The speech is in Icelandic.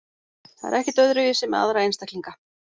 Það er ekkert öðruvísi með aðra einstaklinga.